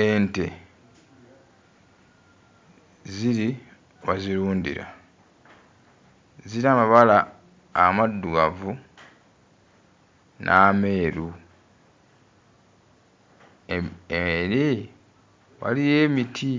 Ente ziri bazirundira, zirina amabala amaddugavu n'ameeru, em eri waliyo emiti,